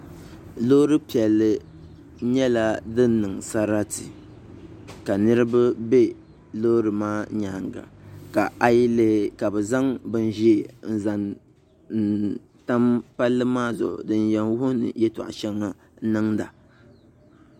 Loori piɛlli nyɛla din niŋ sarati ka niraba bɛ loori maa nyaanga ka a yi lihi ka bi zaŋ bin ʒiɛ n zaŋ tam palli maa zuɣu din yɛn wuhi ni yɛltɔɣa shɛŋa niŋda